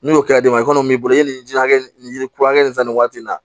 N'o kɛra d'e ma i kɔni b'i bolo ni ji hakɛ nin kura nin san nin waati in na